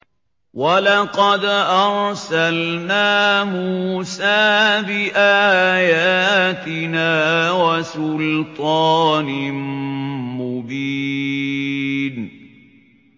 وَلَقَدْ أَرْسَلْنَا مُوسَىٰ بِآيَاتِنَا وَسُلْطَانٍ مُّبِينٍ